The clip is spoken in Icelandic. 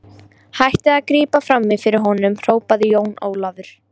Hættið að grípa framí fyrir honum, hrópaði Jón Ólafur.